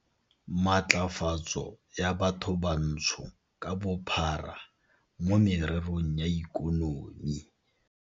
Matlafatso ya Bathobantsho ka Bophara mo Mererong ya Ikonomi.